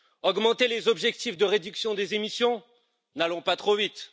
Augmenter les objectifs de réduction des émissions? N'allons pas trop vite!